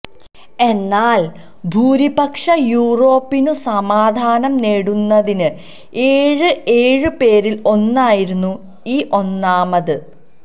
എന്നാൽ ഭൂരിപക്ഷ യൂറോപ്പിനും സമാധാനം നേടുന്നതിന് ഏഴ് ഏഴ് പേരിൽ ഒന്നായിരുന്നു ഈ ഒന്നാമത്